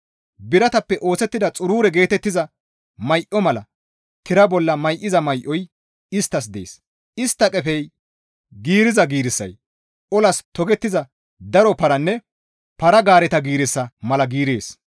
Biratappe oosettida xurure geetettiza may7o mala tira bolla may7iza may7oy isttas dees; istta qefey giiriza giirissay olas togettiza daro paranne para-gaareta giirissa mala giirees.